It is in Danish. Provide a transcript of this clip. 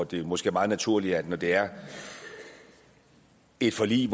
det er måske meget naturligt at når det er et forlig